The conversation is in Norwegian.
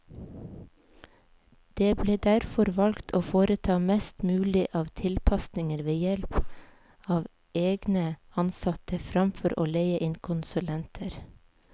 Det ble derfor valgt å foreta mest mulig av tilpasninger ved help av egne ansatte, fremfor å leie inn konsulenter.